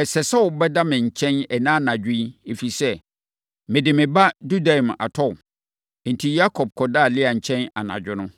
“Ɛsɛ sɛ wobɛda me nkyɛn ɛnnɛ anadwo yi, ɛfiri sɛ, mede me ba dudaim atɔ wo.” Enti, Yakob kɔdaa Lea nkyɛn anadwo no.